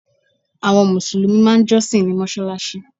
Àwọn mùsùlùmí máà ń jọ́sìn ní mọ́sálásí.